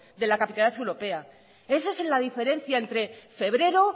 de la capitalidad europea esa es la diferencia entre febrero